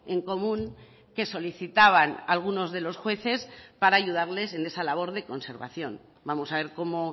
en común que solicitaban algunos de los jueces para ayudarles en esa labor de conservación vamos a ver cómo